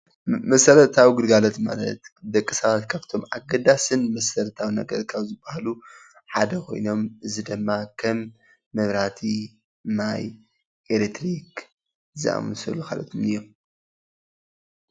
መሰረታዊ ግልጋሎት ማለት ንደቂ ሰባት ካብቶም ኣገዳስን መሰረታዊ ነገርን ካብ ዝባሃሉ ሓደ ኾይኖም እዚ ድማ ከም መብራህቲ፣ ማይ፣ ኤሌክትሪክ ዝኣመሰሉን ካልኦትን እዮም።